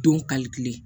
Don kalite